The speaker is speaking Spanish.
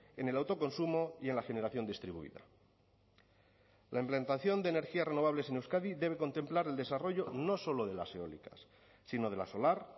en el autoconsumo y en la generación distribuida la implantación de energías renovables en euskadi debe contemplar el desarrollo no solo de las eólicas sino de la solar